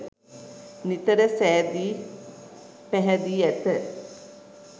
නිතර සැදී පැහැදී ඇත.